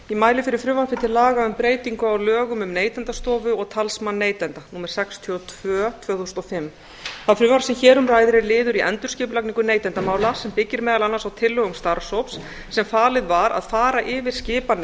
ég mæli fyrir frumvarpi um breytingu á lögum um neytendastofu og talsmann neytenda númer sextíu og tvö tvö þúsund og fimm það frumvarp sem hér um ræðir er liður í endurskipulagningu neytendamála sem byggir meðal annars á tillögum starfshóps sem falið var að fara yfir skipan